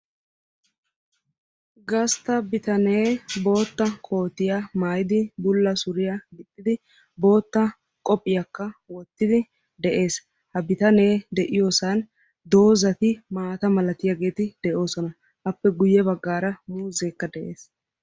Gastta bitanee bootta kootiya maayidi bulla suriya gixxidi bootta qophiyakka wottidi de'ees. Ha bitanee de'iyoosan doozzati maata malatiyaageeti de'oosona. Appe guyye baggaara muuzzekka de'ees.